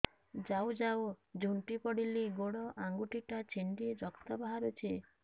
ଯାଉ ଯାଉ ଝୁଣ୍ଟି ପଡ଼ିଲି ଗୋଡ଼ ଆଂଗୁଳିଟା ଛିଣ୍ଡି ରକ୍ତ ବାହାରୁଚି